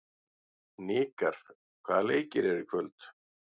Hnikar, hvaða leikir eru í kvöld?